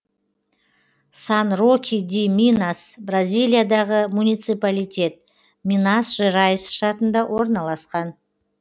сан роки ди минас бразилиядағы муниципалитет минас жерайс штатында орналасқан